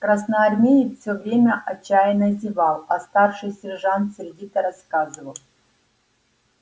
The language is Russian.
красноармеец все время отчаянно зевал а старший сержант сердито рассказывал